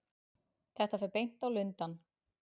Þetta fer beint á Lundann.